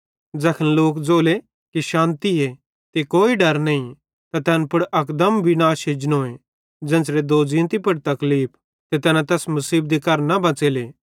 ज़ैखन लोक ज़ोले कि शान्तिए ते कोई डर नईं त तैन पुड़ अकदम विनाश एजनोए ज़ेन्च़रे दोज़ींती पुड़ तकलीफ ते तैना तैस मुसीबती करां न बच़ेले